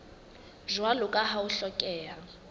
jwalo ka ha ho hlokeha